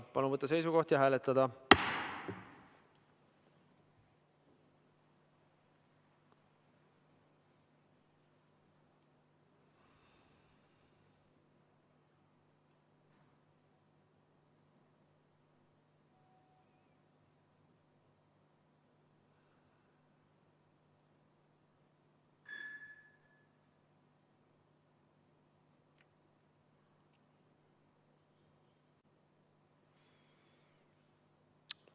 Palun võtta seisukoht ja hääletada!